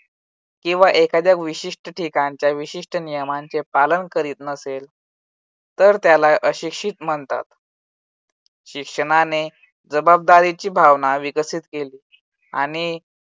किंवा एखाद्या विशिष्ट ठिकाणच्या विशिष्ट नियमांचे पालन करीत नसेल, तर त्याला अशिक्षित म्हणतात. शिक्षणाने जबाबदारीची भावना विकसित केली. आणि